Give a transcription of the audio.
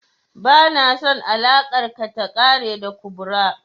Ba na son alakar ka ta ƙare da kubra